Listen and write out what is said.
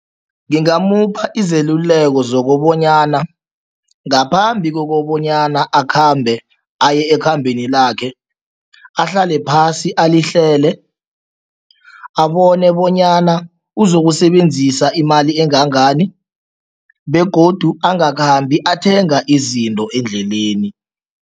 Ngingamupha izeluleko zokobonyana ngaphambi kokobanyana akhambe aye ekhambeni lakhe, ahlale phasi alihlele, abone bonyana uzokusebenzisa imali engangani begodu angakhambi athenga izinto endleleni.